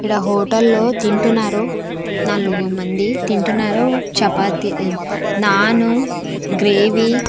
ఈడ హోటల్లో తింటున్నారు నాలుగు మంది తింటున్నారు చపాతీ నాను గ్రేవీ .